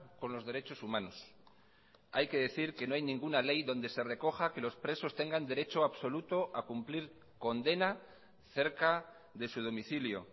con los derechos humanos hay que decir que no hay ninguna ley donde se recoja que los presos tengan derecho absoluto a cumplir condena cerca de su domicilio